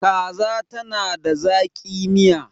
kaza tana da zaki. Miya